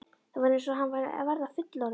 Það var eins og hann væri að verða fullorðinn.